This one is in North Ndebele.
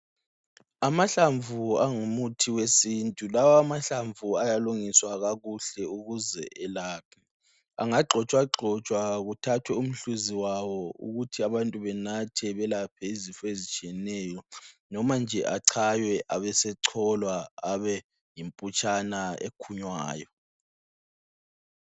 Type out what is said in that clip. Amahlamvu angumuthi wesintu. Lawamahlamvu ayalungiswa kakuhle ukuze elaphe. Angagxotshwagxotshwa kuthathwe umhluzi wawo ukuthi abantu benathe belaphe izifo ezitshiyeneyo noma nje atshaywe abesecholwa abe yimputshana ekhunywayo.